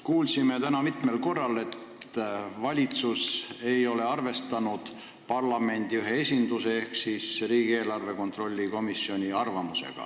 Kuulsime täna mitmel korral, et valitsus ei ole arvestanud parlamendi ühe esinduse ehk riigieelarve kontrolli komisjoni arvamust.